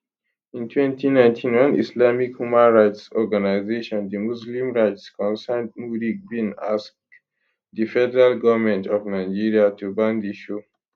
in 2019 one islamic human rights organisation di muslim rights concern muric bin ask di federal goment of nigeria to ban di show